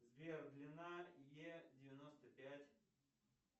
сбер длина е девяносто пять